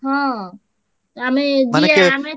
ହଁ ଆମେ ଯିବା